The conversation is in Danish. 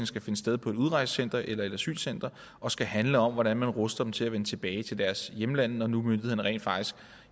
skal finde sted på et udrejsecenter eller et asylcenter og skal handle om hvordan man ruster dem til at vende tilbage til deres hjemland når nu myndighederne rent faktisk